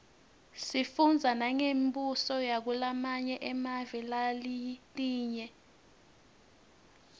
sifundza nangembuso yakulamanye emave naletinye